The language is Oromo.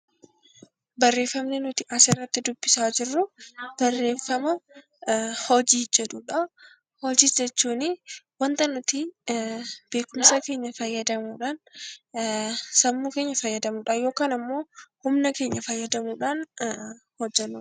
Hojii jechuun wanta nuti beekumsa keenya fayyadamuudhaan sammuu keenya fayyadamuudhaan yookaan humna keenya fayyadamuudhaan hojjannudha.